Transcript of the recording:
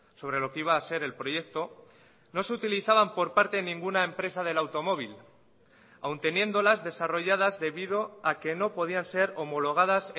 sobre lo que iba a ser el proyecto no se utilizaban por parte de ninguna empresa del automóvil aun teniéndolas desarrolladas debido a que no podían ser homologadas